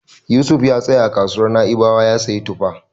Yusuf ya tsaya a kasuwar Na'ibawa ya siyo tufa.